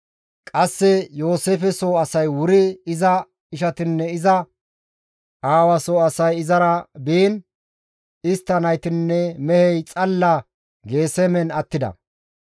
Qasse Yooseefe soo asay wuri iza ishatinne iza aawa soo asay izara biin; istta naytinne mehey xalla Geesemen attida.